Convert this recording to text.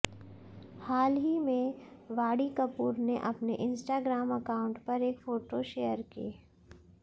हाल ही में वाणी कपूर ने अपने इंस्टाग्राम अकाउंट पर एक फोटो शेयर की